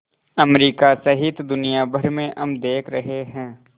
America सहित दुनिया भर में हम देख रहे हैं